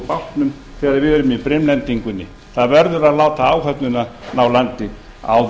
bátnum þegar við erum í brimlendingunni það verður að láta áhöfnina ná landi áður